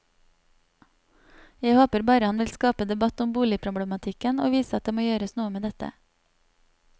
Jeg håper han bare vil skape debatt om boligproblematikken og vise at det må gjøres noe med dette.